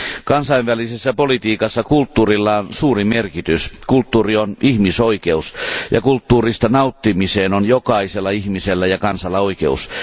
Kansainvälisessä politiikassa kulttuurilla on suuri merkitys, kulttuuri on ihmisoikeus ja kulttuurista nauttimiseen on jokaisella ihmisellä ja kansalla oikeus.